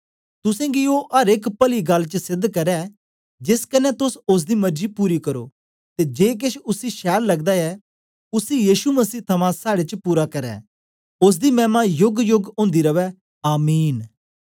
तुसेंगी ओ अर एक पली गल्ल च सेध करै जेस कन्ने तोस ओसदी मर्जी पूरी करो ते जे केछ उसी छैल लगदा ऐ उसी यीशु मसीह थमां साड़े च पूरा करै ओसदी मैमा योगयोग ओंदी रवै आमीन